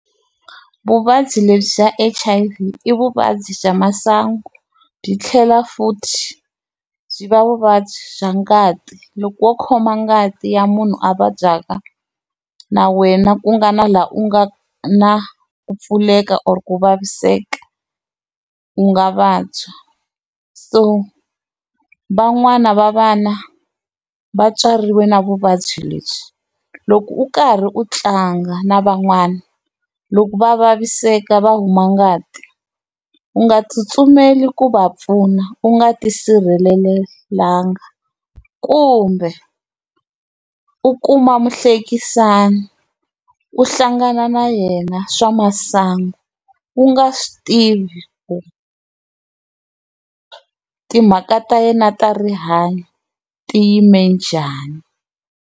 Vuvabyi lebyi bya H_I_V i vuvabyi bya masangu byi tlhela futhi byi va vuvabyi bya ngati. Loko wo khoma ngati ya munhu a vabyaka, na wena ku nga na laha u nga na na ku pfuleka or ku vaviseka, u nga vabya. So van'wana va vana va tswariwe na vuvabyi lebyi. Loko u karhi u tlanga na van'wana, loko va vaviseka va huma ngati, u nga tsutsumeli ku va pfuna u nga ti sirhelelanga. Kumbe u kuma muhlekisani, u hlangana na yena swa masangu, u nga swi tivi ku timhaka ta yena ta rihanyo ti yime njhani.